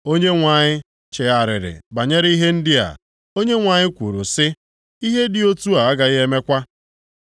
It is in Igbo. Onyenwe anyị chegharịrị banyere ihe ndị a. Onyenwe anyị kwuru sị, “Ihe dị otu a agaghị emekwa.”